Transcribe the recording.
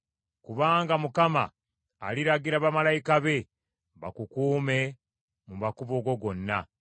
Kubanga Mukama aliragira bamalayika be bakukuume mu makubo go gonna.